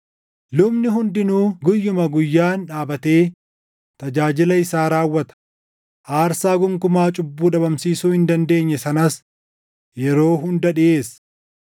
Lubni hundinuu guyyuma guyyaan dhaabatee tajaajila isaa raawwata; aarsaa gonkumaa cubbuu dhabamsiisuu hin dandeenye sanas yeroo hunda dhiʼeessa.